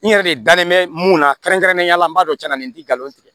N yɛrɛ de dalen bɛ mun na kɛrɛnkɛrɛnnenya la n b'a dɔn cɛn na nin tɛ nkalon tigɛ